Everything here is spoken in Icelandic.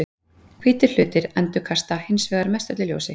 Hvítir hlutir endurkasta hins vegar mestöllu ljósi.